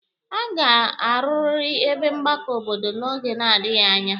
A ga-arụarị ebe mgbakọ obodo n'oge na-adịghi anya.